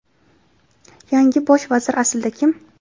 Yangi Bosh vazir aslida kim?.